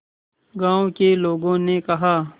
गांव के लोगों ने कहा